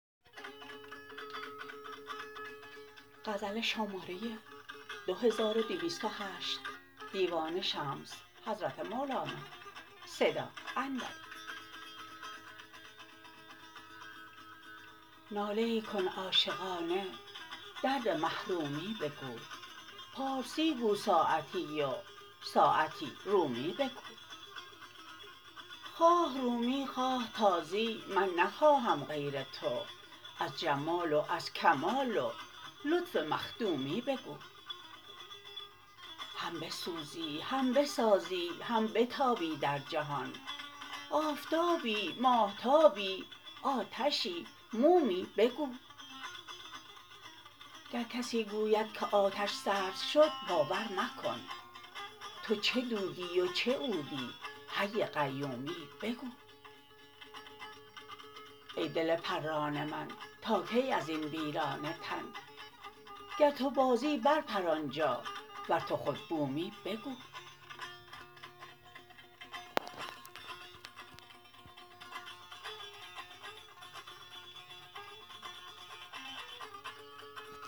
ناله ای کن عاشقانه درد محرومی بگو پارسی گو ساعتی و ساعتی رومی بگو خواه رومی خواه تازی من نخواهم غیر تو از جمال و از کمال و لطف مخدومی بگو هم بسوزی هم بسازی هم بتابی در جهان آفتابی ماهتابی آتشی مومی بگو گر کسی گوید که آتش سرد شد باور مکن تو چه دودی و چه عودی حی قیومی بگو ای دل پران من تا کی از این ویران تن گر تو بازی برپر آن جا ور تو خود بومی بگو